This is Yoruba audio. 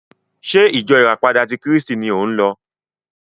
Ṣé ìjọ ìràpadà ti Kírísítì ni ò ń lọ?